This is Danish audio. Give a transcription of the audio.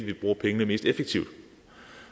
vi bruger pengene mest effektivt og